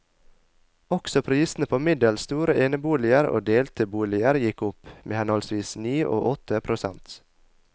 Også prisene på middels store eneboliger og delte boliger gikk opp, med henholdsvis ni og åtte prosent.